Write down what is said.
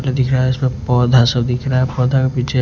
दिख रहा है इसमें पौधा सब दिख रहा है पौधा के पीछे--